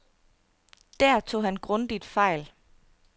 Der tog han grundigt fejl.